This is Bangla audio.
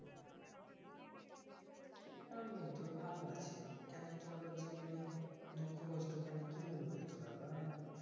আমি তো ভালো আছি কেনরে তোর আবার জীবনে দুঃখ কষ্ট কেন কি হল রে তোর আবার